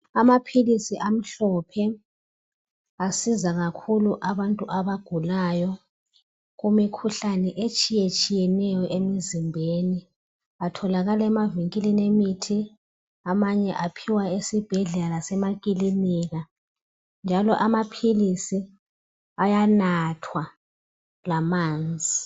Amaphilisi amhlophe asiza kakhulu abantu abagulayo kumikhuhlane etshiyetshiyeneyo emizimbeni atholakala emavinkilini emithi amanye aphiwa esibhedlela lasemakilinika njalo amaphilisi ayanathwa lamanzi